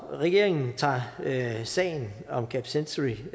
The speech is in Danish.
regeringen tager sagen om camp century